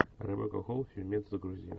ребекка холл фильмец загрузи